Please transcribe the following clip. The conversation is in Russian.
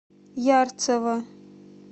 ярцево